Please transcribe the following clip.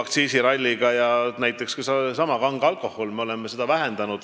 Näiteks me oleme vähendanud ka sedasama kange alkoholi aktsiisi.